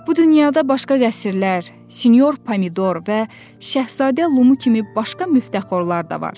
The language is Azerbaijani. Bu dünyada başqa qəsrlər, Sinyor Pomidor və Şəhzadə Lumu kimi başqa müftəxorlar da var.